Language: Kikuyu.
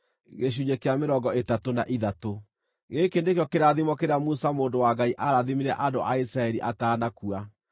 Gĩkĩ nĩkĩo kĩrathimo kĩrĩa Musa mũndũ wa Ngai aarathimire andũ a Isiraeli atanakua.